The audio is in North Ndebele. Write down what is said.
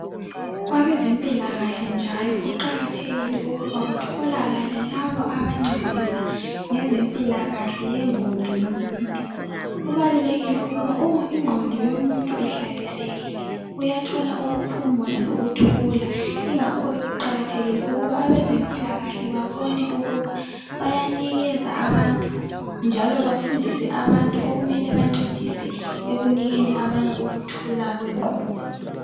Kwabezempilakahle njalo kuqakathekile ukuba kutholakale laba abancedisa ngezempilakahle yengqondo yomuntu. Kubalulekile ukuba uma ingqondo yomuntu ihlalisekile uyathola ukuphumula lokuthula ingakho ke kuqakathekile ukuthi abezempilakahle babone ukuba bayanikeza abantu njalo bafundise abantu okumele bancedise ekunikeni abanye ukuthula kwengqondo.